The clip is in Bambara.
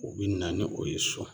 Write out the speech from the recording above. U bi na ni o ye so